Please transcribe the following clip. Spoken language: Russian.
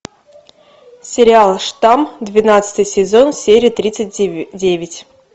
сериал штамм двенадцатый сезон серия тридцать девять